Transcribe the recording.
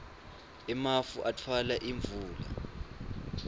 emafu atfwala imvula